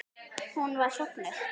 Hún var sofnuð.